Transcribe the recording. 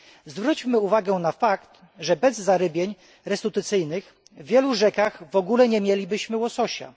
Zwróćmy uwagę na fakt, że bez zarybień restytucyjnych w wielu rzekach w ogóle nie mielibyśmy łososia.